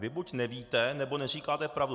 Vy buď nevíte, nebo neříkáte pravdu.